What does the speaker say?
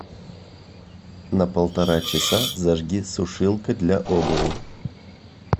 на полтора часа зажги сушилка для обуви